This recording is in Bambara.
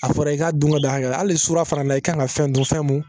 A fɔra i k'a dun ka don hakɛ la hali surunya fana na i kan ka fɛn dun fɛn mun